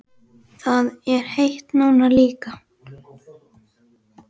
Það er heitt núna líka.